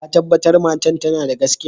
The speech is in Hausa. Ka tabatar matan tana da gaskiya?